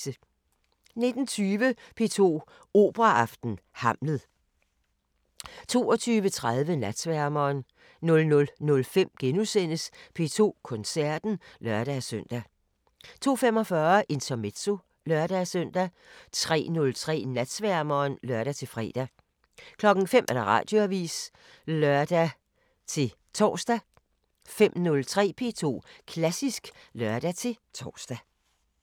19:20: P2 Operaaften: Hamlet 22:30: Natsværmeren 00:05: P2 Koncerten *(lør-søn) 02:45: Intermezzo (lør-søn) 03:03: Natsværmeren (lør-fre) 05:00: Radioavisen (lør-tor) 05:03: P2 Klassisk (lør-tor)